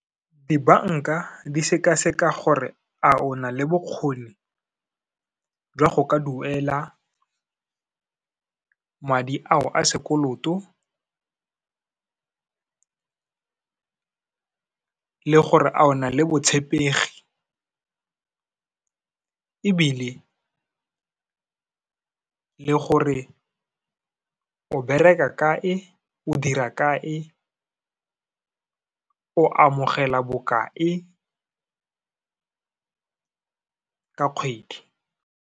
Dibanka di sekaseka gore a ona le bokgoni jwa go ka duela madi ao a sekoloto, le gore a o na le botshepegi ebile le gore o bereka kae, o dira kae, o amogela bokae, ka kgwedi.